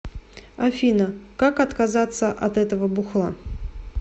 афина как отказаться от этого бухла